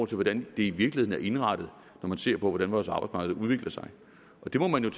til hvordan det i virkeligheden er indrettet når man ser på hvordan vores arbejdsmarked udvikler sig det må man jo